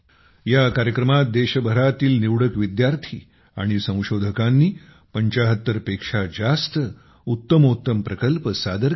या कार्यक्रमात देशभरातील निवडक विद्यार्थी आणि संशोधकांनी 75 पेक्षा जास्त उत्तमोत्तम प्रकल्प सादर केले